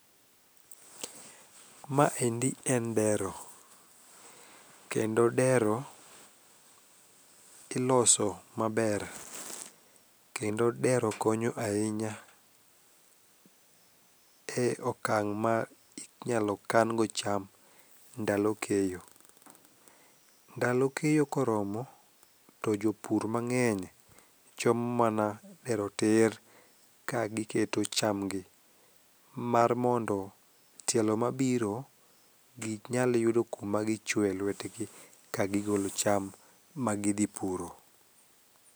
Maendi en dero, kendo dero iloso maber kendo dero konyo ahinya e okang' ma inyalo kan go cham ndalo keyo. Ndalo keyo koromo, to jopur mang'eny chomo mana dero tir kagiketo chamgi mar mondo tielo mabiro ginyal yudo kuma gichwoye lwetgi kagigolo cham magidhi puro.